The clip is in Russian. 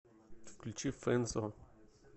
включи фэнсо